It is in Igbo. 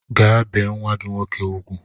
Gaa bee nwa gị nwoke ugwu!